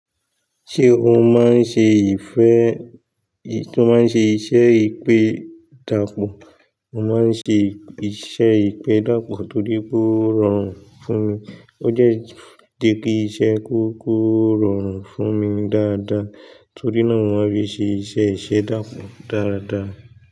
Ṣé ó máa ń ṣe ìfẹ́, tó máa ń ṣe iṣẹ́ ìpẹ́dàpọ̀? Mo máa ń ṣe iṣẹ́ ìpẹ́dàpọ̀ torí pé ó rọrùn fún mi. Ó jẹ́ dé pé iṣẹ́ kó rọrùn fún mi dáadáa, torí náà mo máa ń fi ṣe iṣẹ́ ìṣẹ̀dápọ̀ dáradára.